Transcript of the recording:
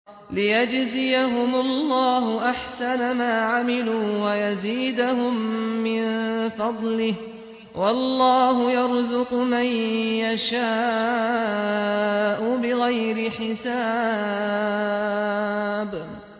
لِيَجْزِيَهُمُ اللَّهُ أَحْسَنَ مَا عَمِلُوا وَيَزِيدَهُم مِّن فَضْلِهِ ۗ وَاللَّهُ يَرْزُقُ مَن يَشَاءُ بِغَيْرِ حِسَابٍ